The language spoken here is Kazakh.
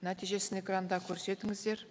нәтижесін экранда көрсетіңіздер